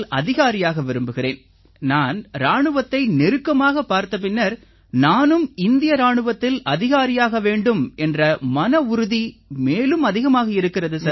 அதிகாரியாக விரும்புகிறேன் நான் இராணுவத்தை நெருக்கமாகப் பார்த்த பின்னர் நானும் இந்திய இராணுவத்தில் அதிகாரியாக வேண்டும் என்ற மனவுறுதி மேலும் அதிகமாகி இருக்கிறது சார்